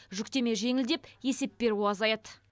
жүктеме жеңілдеп есеп беру азаяды